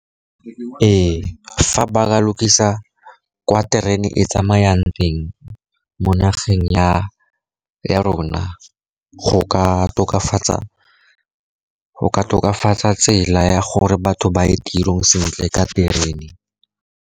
Ee, fa ba ka lokisa kwa terene e tsamayang teng mo nageng ya rona, go ka tokafatsa tsela ya gore batho ba ye tirong sentle ka terene